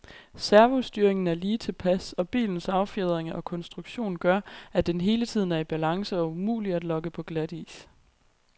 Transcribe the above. Servostyringen er lige tilpas, og bilens affjedring og konstruktion gør, at den hele tiden er i balance og umulig at lokke på glatis.